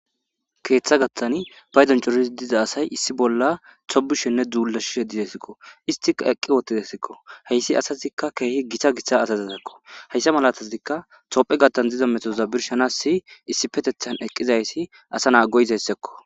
Keeththa gattani paydonchorisi diza asay issi bolla tobushenne dzuulashishe dizesikko istika eqqi wottidasikko heyssi asazikka keehi gita gitsa asazisakko hayssa malatazikka tophe gattan ziza metoza birshanassi issi petethan eqqizaysi asa naa go'izayssakko.